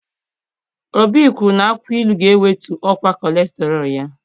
Obi kwuru na akwụkwọ ilu ga-ewetu ọkwa kọlesterọl ya.